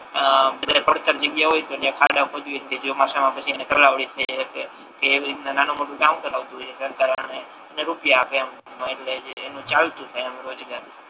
આહ અત્યારે પડતર જગ્યા હોય જ્યા ખાડો ખોદીએ અને પછી તલાવડી કે એવી રીતના નાનુ મોટુ અને રૂપિયા આપે એમ એટલે એનુ ચાલતુ હોય એમ રોજગારી